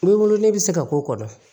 N wolo ne bɛ se ka k'o kɔnɔ